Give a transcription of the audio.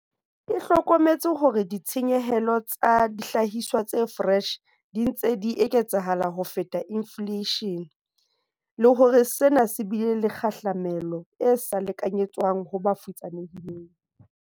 E hlokometse hore ditshenyehelo tsa dihlahiswa tse foreshe di ntse di eketseha ho feta infleishene, le hore sena se bile le kgahlamelo e sa lekanyetswang ho ba futsanehileng.